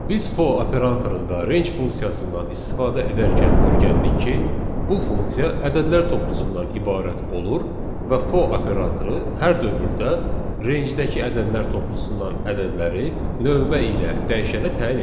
Biz for operatorunda range funksiyasından istifadə edərkən öyrəndik ki, bu funksiya ədədlər toplusundan ibarət olur və for operatoru hər dövrdə rangedəki ədədlər toplusundan ədədləri növbə ilə dəyişənə təyin edir.